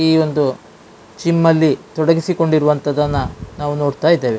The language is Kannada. ಈ ಒಂದು ಸಿಮ್ಮಲ್ಲಿ ತೊಡಗಿಸಿಕೊಂಡಿರುವಂತದ್ದನ್ನ ನಾವ್ ನೋಡ್ತಾ ಇದ್ದೇವೆ.